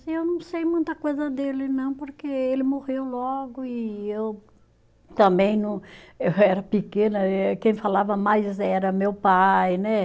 Eu não sei muita coisa dele, não, porque ele morreu logo e eu também não, eu era pequena eh, quem falava mais era meu pai, né?